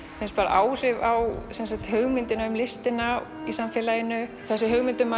áhrif á hugmyndina um listina í samfélaginu hugmyndina